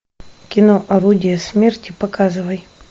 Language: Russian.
кино орудие смерти показывай